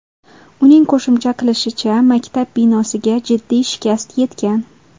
Uning qo‘shimcha qilishicha, maktab binosiga jiddiy shikast yetgan.